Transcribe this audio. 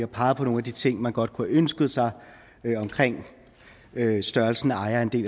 peget på nogle af de ting man godt kunne have ønsket sig omkring størrelsen af ejerandel